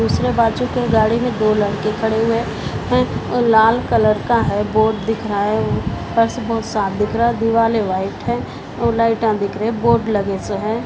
दूसरे बाजू के गाड़ी में दो लड़के खड़े हुए है वो लाल कलर का है बोर्ड दिख रहा है फ़र्श बहुत साफ़ दिख रहा है दीवाले वाइट है और लाइटा दिख रहा है बोर्ड लगे सो है।